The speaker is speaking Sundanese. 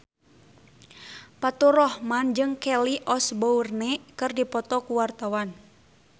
Faturrahman jeung Kelly Osbourne keur dipoto ku wartawan